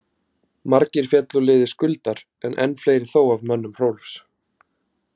Margir féllu úr liði Skuldar en enn fleiri þó af mönnum Hrólfs.